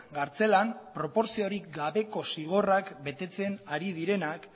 kartzelan proportziorik gabeko zigorrak betetzen ari direnak